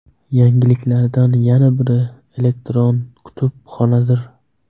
Yangiliklardan yana biri – elektron kutubxonadir.